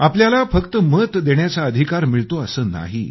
आपल्याला फक्त मत देण्याचा अधिकार मिळतो असं नाही